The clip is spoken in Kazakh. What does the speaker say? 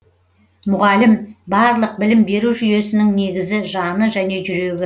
мұғалім барлық білім беру жүйесінің негізі жаны және жүрегі